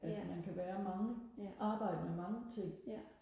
at man kan være mange arbejde med mange ting